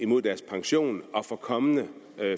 mod deres pension og for kommende